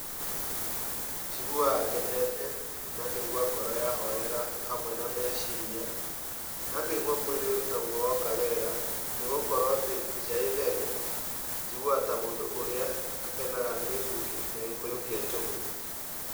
Njiguaga ngenete, na ngaigua ngoro yahorera hamwe na meciria na ngaigua mwĩrĩ naguo woka wega nĩgũkorwo atĩ nja ĩ theru njiguaga ta mũndũ ũrĩa akenaga nĩ mbugi na gĩkũyũ kĩa njogu.